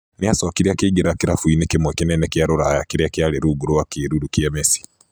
Nĩ acokire akĩingĩra kirabu-inĩ kĩmwe kĩnene kĩa rũraya kĩrĩa kĩarĩ rungu rwa kĩĩruru kĩa Messi.